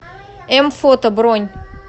м фото бронь